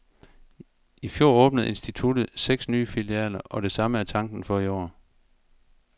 I fjor åbnede instituttet seks nye filialer, og det samme er tanken for i år.